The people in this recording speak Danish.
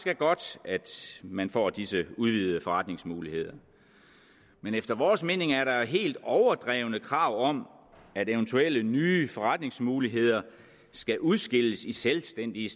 er godt at man får disse udvidede forretningsmuligheder men efter vores mening er der helt overdrevne krav om at eventuelle nye forretningsmuligheder skal udskilles i selvstændige